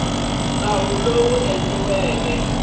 endliweke nawu lowu wu nga